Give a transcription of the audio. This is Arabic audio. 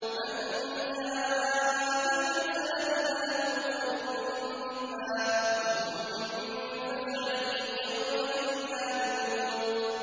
مَن جَاءَ بِالْحَسَنَةِ فَلَهُ خَيْرٌ مِّنْهَا وَهُم مِّن فَزَعٍ يَوْمَئِذٍ آمِنُونَ